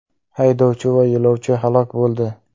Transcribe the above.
Haydovchi va yo‘lovchi halok bo‘ldi.